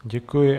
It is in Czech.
Děkuji.